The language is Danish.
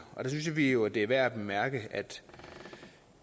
der synes vi jo det er værd at bemærke at